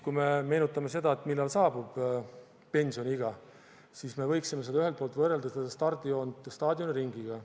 Kui me meenutame seda, millal saabub pensioniiga, siis me võiksime ühelt poolt võrrelda stardijoont staadioniringiga.